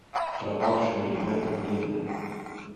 пропавшие ребята племя